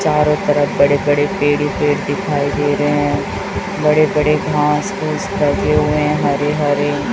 चारों तरफ बड़े बड़े पेड़ ही पेड़ दिखाई दे रहे है बड़े बड़े घास फूस लगे हुए हैं हरे हरे --